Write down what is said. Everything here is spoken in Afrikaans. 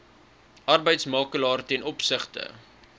arbeidsmakelaar ten opsigte